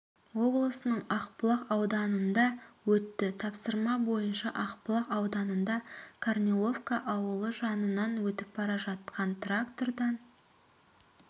облысының ақбұлақ ауданында өтті тапсырма бойынша ақбұлақ ауданында корниловка ауылы жанынан өтіп бара жатқан трактордан